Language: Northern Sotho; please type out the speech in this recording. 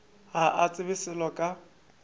ga a tsebe selo ka